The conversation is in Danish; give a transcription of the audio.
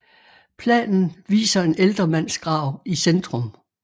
Planen viser en ældre mands grav i centrum